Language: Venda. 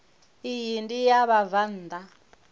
iyi ndi ya vhabvann ḓa